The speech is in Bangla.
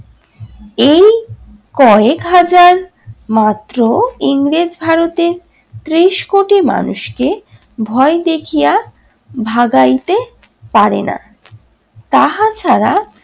কয়েকহাজার মাত্র ইংরেজ ভারতের ত্রিশ কোটি মানুষকে ভয় দেখিয়া ভাগাইতে পারে না। তাহা ছাড়া